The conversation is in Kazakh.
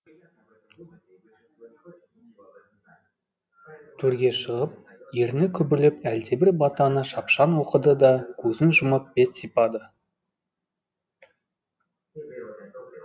төрге шығып ерні күбірлеп әлдебір батаны шапшаң оқыды да көзін жұмып бет сипады